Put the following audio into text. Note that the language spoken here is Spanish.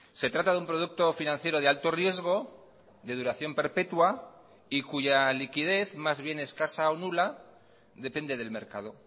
se trata de un producto financiero de alto riesgo de duración perpetua y cuya liquidez más bien escasa o nula depende del mercado